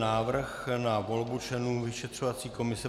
Návrh na volbu členů vyšetřovací komise